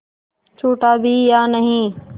छूटा भी या नहीं